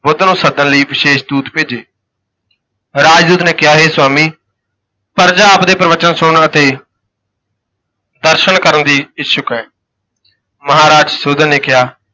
ਬੁੱਧ ਨੂੰ ਸੱਦਣ ਲਈ ਵਿਸ਼ੇਸ਼ ਦੂਤ ਭੇਜੇ ਰਾਜ ਦੂਤ ਨੇ ਕਿਹਾ, ਹੇ ਸੁਆਮੀ, ਪਰਜਾ ਆਪਦੇ ਪ੍ਰਬਚਨ ਸੁਣਨ ਅਤੇ ਦਰਸ਼ਨ ਕਰਨ ਦੀ ਇੱਛੁਕ ਹੈ ਮਹਾਰਾਜ ਸੁਸ਼ੋਧਨ ਨੇ ਕਿਹਾ